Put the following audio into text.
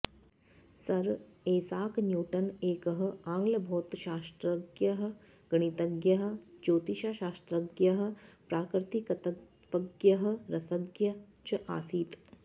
sir Isaac Newton एकः आङ्ग्लभौतशास्त्रज्ञः गणितज्ञः ज्योतिश्शास्त्रज्ञः प्राकृत्तिकतत्त्वज्ञः रसज्ञः च आसीत्